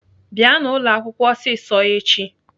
Bịanụ ụlọakwụkwọ ọsịsọ echi!